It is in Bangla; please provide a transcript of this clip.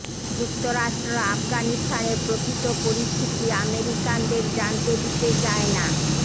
যুক্তরাষ্ট্র আফগানিস্তানের প্রকৃত পরিস্থিতি আমেরিকানদের জানতে দিতে চায় না